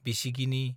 बिसिगिनि